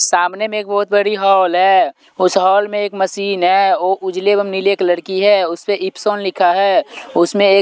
सामने में एक बहुत बड़ी हॉल है उस हॉल में एक मशीन है वो उजले एवं नीले कलर की है उस पे इप्सॉन लिखा है उसमें एक--